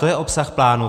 To je obsah plánu.